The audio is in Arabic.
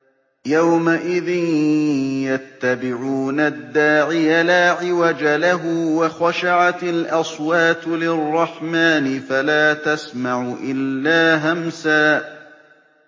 يَوْمَئِذٍ يَتَّبِعُونَ الدَّاعِيَ لَا عِوَجَ لَهُ ۖ وَخَشَعَتِ الْأَصْوَاتُ لِلرَّحْمَٰنِ فَلَا تَسْمَعُ إِلَّا هَمْسًا